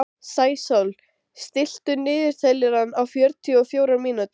Sæsól, stilltu niðurteljara á fjörutíu og fjórar mínútur.